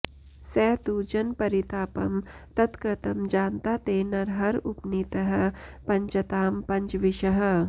स तु जनपरितापं तत्कृतं जानता ते नरहर उपनीतः पञ्चतां पञ्चविंशः